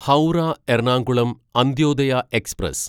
Howrah Ernakulam Antyodaya express